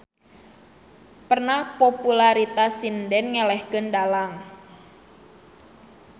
Pernah popularitas sinden ngelehkeun dalang.